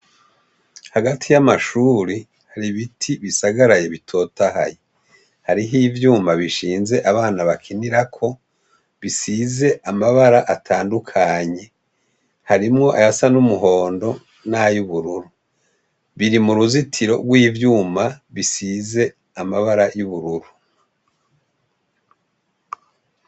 Hagati y'amashuri, har'ibiti bisagaraye bitotahaye. Hariho ivyuma bishinze abana bakinirako, bisize amabara atandukanye . Harimwo ayasa n'umuhondo nay'ubururu. Biri m'uruzitiro rw'ivyuma bisize amabara y'ubururu.